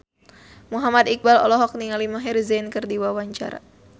Muhammad Iqbal olohok ningali Maher Zein keur diwawancara